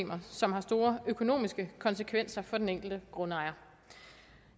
som har store økonomiske konsekvenser for den enkelte grundejer